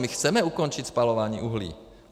My chceme ukončit spalování uhlí.